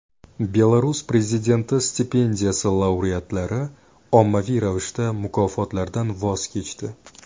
Belarus prezidenti stipendiyasi laureatlari ommaviy ravishda mukofotlardan voz kechdi.